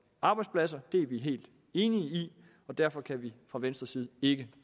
arbejdspladser det er vi helt enige i og derfor kan vi fra venstres side ikke